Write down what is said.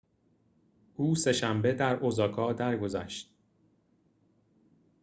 او سه‌شنبه در اوزاکا درگذشت